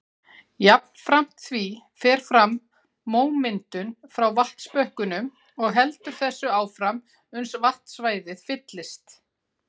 Jafnframt því fer fram mómyndun frá vatnsbökkunum og heldur þessu áfram uns vatnsstæðið fyllist.